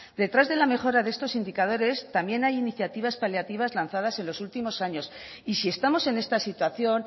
detrás de la mejora de estos indicadores también hay iniciativas paliativas lanzadas en los últimos años y si estamos en esta situación